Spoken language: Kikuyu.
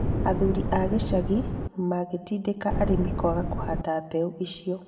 Athuri a gĩcagi makĩtindĩka arĩmi kwaga kuhanda mbeũ icio